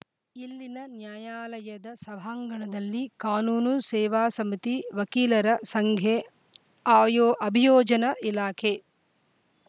ಇಲ್ಲಿನ ನ್ಯಾಯಾಲಯದ ಸಭಾಂಗಣದಲ್ಲಿ ಕಾನೂನು ಸೇವಾ ಸಮಿತಿ ವಕೀಲರ ಸಂಘೆ ಅಯೋ ಅಭಿಯೋಜನೆ ಇಲಾಖೆ